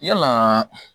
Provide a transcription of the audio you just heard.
Yalaa